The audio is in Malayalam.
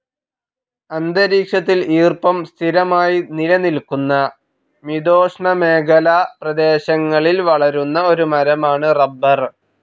അന്തരീക്ഷത്തിൽ ഈർപ്പം സ്ഥിരമായി നിലനിൽക്കുന്ന മിതോഷ്ണമേഖലാ പ്രേദേശങ്ങളിൽ വളരുന്ന ഒരു മരമാണ് റബ്ബർ.